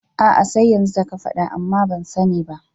Aa sai yanzu da ka faɗa amma ban sani ba